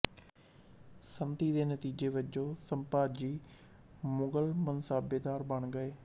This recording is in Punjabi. ਸੰਧੀ ਦੇ ਨਤੀਜੇ ਵਜੋਂ ਸੰਭਾਜੀ ਮੁਗਲ ਮਨਸਾਬੇਦਾਰ ਬਣ ਗਏ